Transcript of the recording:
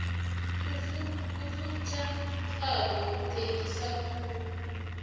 ufunjathwako uthengise khulu